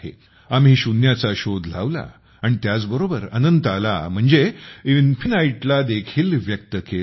आम्ही शून्याचा शोध लावला आणि त्याच बरोबर अनंताला म्हणजेच इन्फिनाइट ला देखील व्यक्त केले